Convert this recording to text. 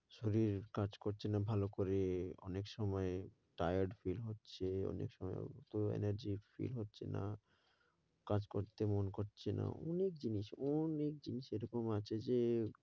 শরীর কাজ করছে না ভালো করে, অনেক সময় tired হচ্ছে, অনেক সময় অত energy feel হচ্ছেনা, কাজ করতে মন করছে না, অনেক জিনিস অনেক জিনিস এরকম আছে যে,